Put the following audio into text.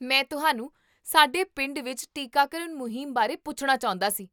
ਮੈਂ ਤੁਹਾਨੂੰ ਸਾਡੇ ਪਿੰਡ ਵਿੱਚ ਟੀਕਾਕਰਨ ਮੁਹਿੰਮ ਬਾਰੇ ਪੁੱਛਣਾ ਚਾਹੁੰਦਾ ਸੀ